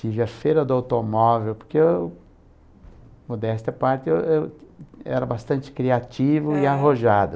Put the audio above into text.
Tive a feira do automóvel, porque eu, modéstia à parte, eu eu era bastante criativo e arrojado.